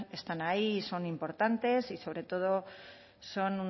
están ahí y son importantes y sobre todo son